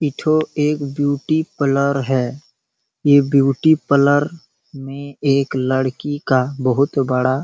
इठो एक beauty parlour है ये ब्यूटी प्लोर मे एक लड़की का बहुत बड़ा--